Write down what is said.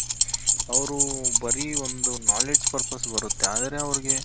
ಅವ್ರು ಬರೀ ಒಂದು knowledge purpose ಬರುತ್ತೆ ಆದ್ರೆ ಅವ್ರಿಗೆ